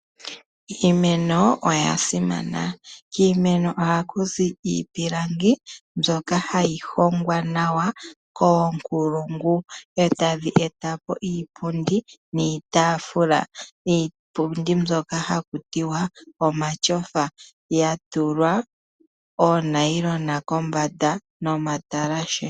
Iimeno oya simana. Kiimeno oha kuzi iipilangi mbyoka hayi hongwa nawa koonkulungu etadhi etapo iipundi, iitafula niipundi mbyoka haku tiwa omatyofa yatulwa oonayilona kombanda nomatalashe.